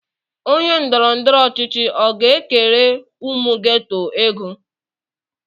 Onye ndọrọndọrọ ọchịchị ọ ga-ekere ụmụ geto ego?